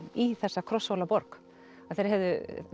í þessa Krosshólaborg að þeir hefðu